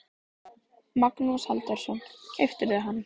Magnús Halldórsson: Keyptirðu hann?